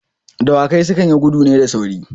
Dawakai su kan yi gudu ne da sauri.